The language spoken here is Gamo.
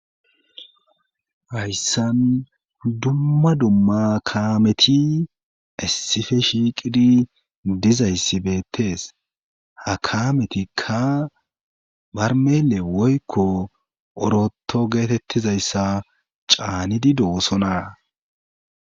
hayssan dumma dumma kaameti issife shiiqidi dizayssi beettees ha kametikka barmele woykko oroto geetettizayssa caanidi doosona